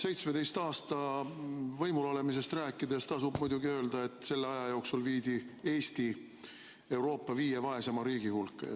17 aasta pikkusest võimul olemisest rääkides tasub muidugi öelda, et selle aja jooksul viidi Eesti Euroopa viie vaeseima riigi hulka.